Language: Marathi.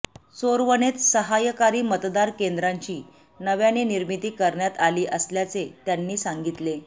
चोरवणेत सहायकारी मतदान केंद्राची नव्याने निर्मिती करण्यात आली असल्याचे त्यांनी सांगितले